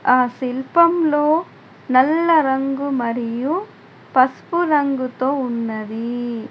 ఆ శిల్పంలో నల్ల రంగు మరియు పస్పు రంగుతో ఉన్నది.